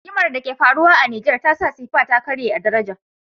Rigimar da ke faruwa a nijar tasa sefa ta karye a daraja